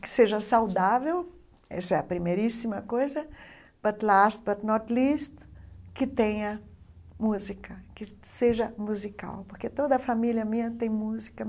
Que seja saudável, essa é a primeiríssima coisa, que tenha música, que seja musical, porque toda a família minha tem música.